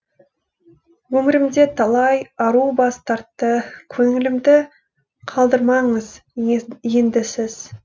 өмірімде талай ару бас тартты көңілімді қалдырмаңыз енді сіз